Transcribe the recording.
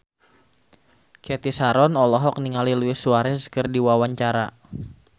Cathy Sharon olohok ningali Luis Suarez keur diwawancara